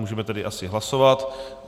Můžeme tedy asi hlasovat.